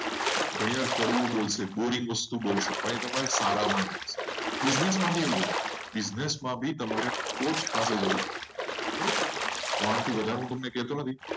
ઘણીવાર કડવી વસ્તુઓ પણ એ તમારા સારા માટે હશે. business માં પણ એવું છે. business માં ભી તમારે કોઈ પાસે જવું પડે. હવે આમાંથી વગર તમને કહેતો નથી.